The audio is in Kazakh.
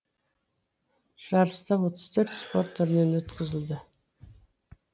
жарыстар отыз төрт спорт түрінен өткізілді